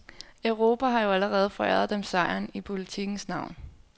Europa har jo allerede foræret dem sejren i politikkens navn.